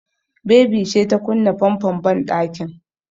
Baby ce ta kunna famfon banɗakin.